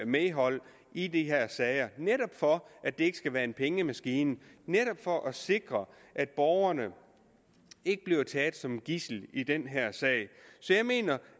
medhold i de her sager netop for at det ikke skal være en pengemaskine og for at sikre at borgerne ikke bliver taget som gidsel i den her sag så jeg mener